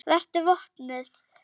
Vertu vopnuð.